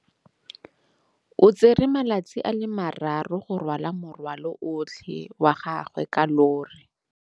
O tsere malatsi a le marraro go rwala morwalo otlhe wa gagwe ka llori.